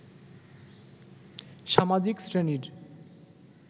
সামাজিক শ্রেণীর